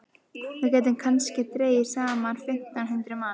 Við gætum kannski dregið saman fimmtán hundruð manns.